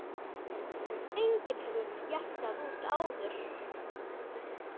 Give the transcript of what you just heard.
Ímynd sem enginn hafði jaskað út áður.